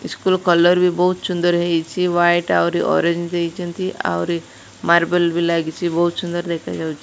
School colour ବି ବୋହୁତ ସୁନ୍ଦର ହେଇଚି ୱାୟିଟ ଆହୁରି ଅରଞ୍ଜ ଦେଇଚନ୍ତି ଆହୁରି ମାର୍ବଲ୍ ବି ଲାଗିଚି ବୋହୁତ ସୁନ୍ଦର ଦେଖାଯାଉଚି।